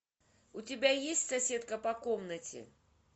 у тебя есть соседка по комнате